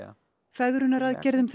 fegrunaraðgerðum